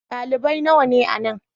Dalibai nawa ne a nan?